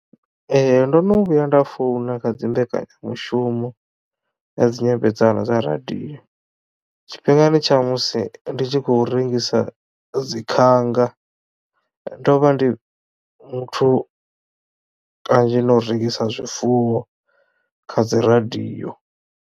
Ee ndo no vhuya nda founa kha dzi mbekanya mushumo ya dzi nyambedzano dza radio tshifhingani tsha musi ndi tshi khou rengisa dzi khanga ndo vha ndi muthu kanzhi na u rengisa zwifuwo kha dzi radio.